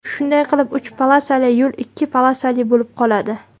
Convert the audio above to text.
Shunday qilib, uch polosali yo‘l ikki polosali bo‘lib qoladi.